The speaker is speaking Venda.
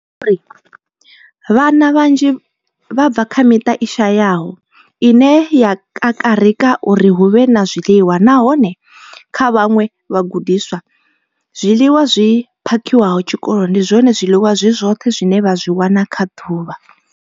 Vhana vhanzhi vha bva kha miṱa i shayaho ine ya kakarika uri hu vhe na zwiḽiwa, nahone kha vhaṅwe vhagudiswa, zwiḽiwa zwi phakhiwaho tshikoloni ndi zwone zwiḽiwa zwi zwoṱhe zwine vha zwi wana kha ḓuvha.